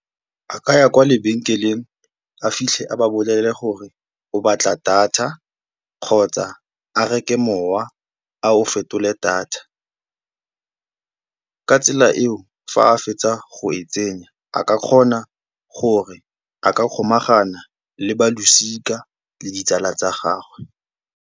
A ka ya kwa lebenkeleng a fitlhe a ba bolelele gore o batla data kgotsa a reke mowa a o fetole data, ka tsela eo fa a fetsa go e tsenya a ka kgona gore a ka kgomagana le ba losika le ditsala tsa gagwe.